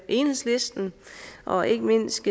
enhedslisten og ikke mindst